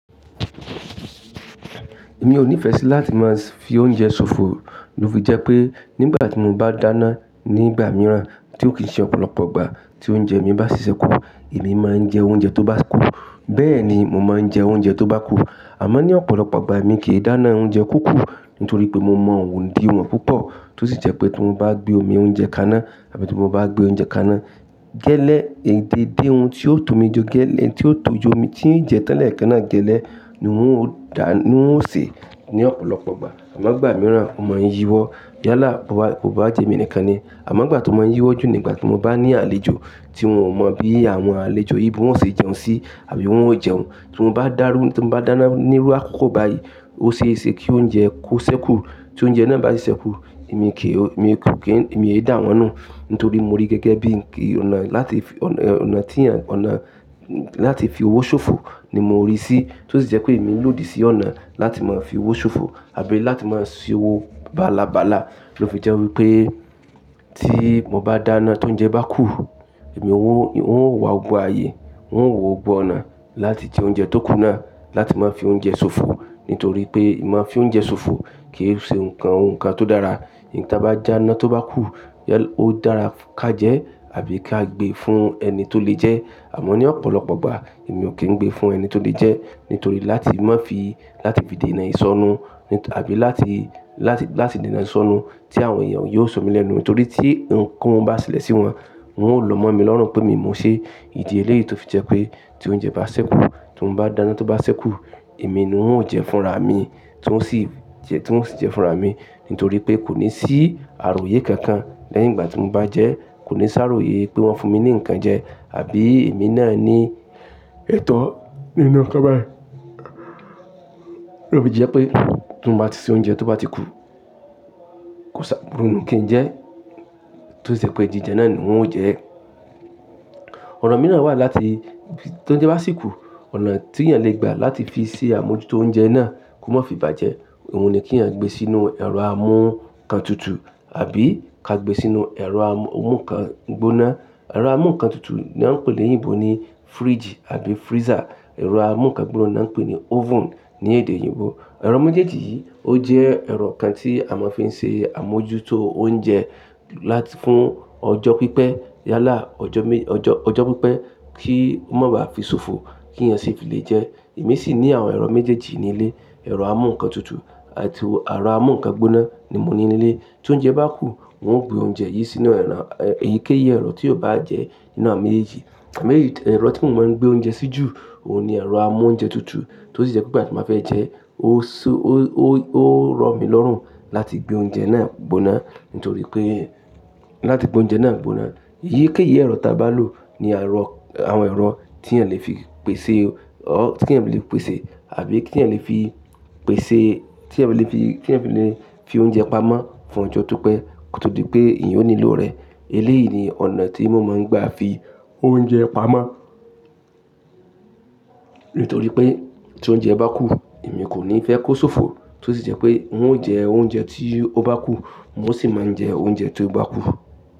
Èmi ò ní ìfẹ́ sí láti máa fi oúnjẹ ṣòfò. Ló fi jẹ́ pé nígbà tí mo bá dáná nígbà mìíràn tí ó kì í ṣe ọ̀pọ̀lọpọ̀ ìgbà tí oúnjẹ mí bá si ṣẹ́kù, èmi máa ń jẹ oúnjẹ tó bá kù. Bẹ́ẹ̀ ni mò ń máa jẹ oúnjẹ tó bá kù. Àmọ́ ní ọ̀pọ̀lọpọ̀ ìgbà èmi kì í dáná oúnjẹ kúkú nítorí pé mo mọ ondíwon púpọ̀ tó sì jẹ́ pé tí mo bá gbé omi oúnjẹ kaná àbí tí mo bá gbé oúnjẹ kaná gẹ́lẹ́, èyí dédé ohun tí ó tó mi je gẹ́lẹ́, tí ó tò jo mi tí ń jẹ tan lẹ̀ekẹ́ná gẹ́lẹ́ ni oun ó dà, ni oun ó sè ní ọ̀pọ̀lọpọ̀ ìgbà. Àmọ́ ìgbà mìíràn, mo máa ń yíwọ́ yálà bó bá, bó bá jẹ́ emi nìkan ni. Àmọ́ ìgbà tó máa ń yíwọ́ jù nígbà tí mo bá ní àlejò tí wọn ò mọ bí àwọn àlejò yìí bí wọ́n ṣe jẹun sí àbí wọ́n ó jẹun. Tí mo bá dárú, tí mo bá dáná ni írú àkókò báyìí, óṣeéṣe kí oúnjẹ kó ṣẹ́kù. Tí oúnjẹ náà bá ṣiṣẹ́ kù, èmi kì í, èmi kò kí ń, èmi ò yẹ dá wọn náà nítorí mo rí gẹ́gẹ́ bí onà láti, onà tí ènìyàn, onà láti fi owó ṣòfò ni mo ríi sí. Tó sì jẹ́ pé èmi ń lòdì sí ọ̀nà láti máa fi owó ṣòfò àbí láti máa se owó bálabala. Ló fi jẹ́ wípé tí mo bá dáná tí oúnjẹ bá kù, èmi o, oun ó wà gbogbo ayé, oun ó wò gbogbo ọ̀nà láti jẹ oúnjẹ tó kù náà láti máa fi oúnjẹ ṣòfò. Nítorí pé ì máa ń fi oúnjẹ ṣòfò kì í ṣe nǹkan, ohun kan tó dára. Iyi tí a bá dàná tó bá kù yẹ ó dára ká jẹ́ àbí ká gbé fún ẹni tó lè jẹ́. Àmọ́ ní ọ̀pọ̀lọpọ̀ ìgbà èmi ò kí ń gbé fún ẹni tólè jẹ́ nítorí láti má fi, láti fi dènà ìṣọ́nú àbí láti, láti, láti dènà ìṣọ́nú tí àwọn èèyàn yóò sọ mí lẹ́nu. Nítorí tí ohun kó ohun bá ṣẹlẹ̀ sí wọn, wọn ó lo mọ́ mi lọ́rùn pé mi mo n ṣe. Idi leléyìí tó fi jẹ́ pé tí oúnjẹ bá ṣẹ́kù, tí mo bá dáná tó bá ṣẹ́kù, èmi ni oun jẹ fúnra mi tí oun sì jẹ, tí oun sì jẹ fúnra mi. Nítorí pé kò ní sí àròyé kankan lẹ́yìn ìgbà tí mo bá jẹ́. Kò ní ṣàròyé pé wọ́n fún mi ní ǹkan jẹ àbí èmi náà ní ẹ̀tọ́ nínú ǹkan báyìí. Ló fi jẹ́ pé tí mo bá ti se oúnjẹ tó bá ti kù, kò ṣà, kò rún, kì n jẹ́ tó sì jẹ́ pé jijẹ́ náà ni oun ó jẹ́. Ọ̀nà mìíràn wà láti tí oúnjẹ bá sì kù, ọ̀nà tí èèyàn lè gbà láti fi ṣe àmójútó oúnjẹ náà kó má fi bàjẹ́. Òun ni kí èèyàn gbé sínú ẹ̀rọ amú ǹkan tutù àbí ká gbé sínú ẹ̀rọ amú ǹkan gbóná. Ẹ̀rọ amú ǹkan tutù ni wọ́n ń pè ní èdè leyinbò ní fridge àbí freezer. Ẹ̀rọ amú ǹkan gbóná ni wọ́n ń pè ní oven ní èdè eyinbò. Ẹ̀rọ méjèèjì yìí ó jẹ́ ẹ̀rọ kan tí a máa fi ń ṣe àmójútó oúnjẹ fún ọjọ́ pípẹ́ yálà ọjọ́, ọjọ́, ọjọ́ pípẹ́ kí ó má bá fi ṣòfò kí èèyàn sì fi lè jẹ ẹ́. Èmi sì ní àwọn ẹ̀rọ méjèèjì nílé. Ẹ̀rọ amú ǹkan tutù àti ẹ̀rọ amú ǹkan gbóná ni mo ní nílé. Tí oúnjẹ bá kù, oun ó gbé oúnjẹ yìí sínú ẹ̀rọ, èyíkéyìí ẹ̀rọ tí yóò bá jẹ́ nínú awon méjèèjì. Amo èyí, ẹ̀rọ tí mò ń máa ń gbé oúnjẹ sí jù òun ni ẹ̀rọ amú oúnjẹ tutù. Tó sì jẹ́ pé ìgbà tí n bàá fẹ́ jẹ ẹ́, ó so, ó rọ̀ mí lọ́rùn láti gbé oúnjẹ náà gbóná nítorí pé láti gbé oúnjẹ náà gbóná. Eyíkéyìí ẹ̀rọ ta bá lò ni ẹ̀rọ, àwọn ẹ̀rọ tí èèyàn lè fi pèsè, tí èèyàn lè fi pèsè àbí kí èèyàn lè fi pèsè, tí èèyàn lè fi, kí èèyàn fi le fi oúnjẹ pamọ́ fún ọjọ́ tó pẹ́ koto di pé eeyan o nílò rẹ̀. Eléyìí ni ọ̀nà tí mò ń máa ń gbà fi oúnjẹ pamọ́ nítorí pé tí oúnjẹ bá kù, èmi kò ní fẹ́ kó ṣòfò. Tó sì jẹ́ pé wọn ó jẹ oúnjẹ tí ó bá kù, wọ́n ó sì máa ń jẹ oúnjẹ tí ó bá kù.